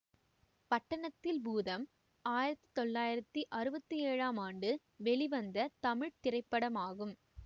பட்டணத்தில் பூதம் ஆயிரத்தி தொள்ளாயிரத்தி அறுபத்தி ஏழாம் ஆண்டு வெளிவந்த தமிழ் திரைப்படமாகும்